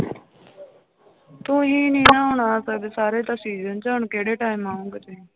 ਤੁਸੀਂ ਨੀ ਆਉਣਾ ਕਦੇ ਸਾਰੇ ਤਾਂ season ਚ ਹੁਣ ਕਿਹੜੇ time ਆਓਗੇ ਤੁਸੀਂ।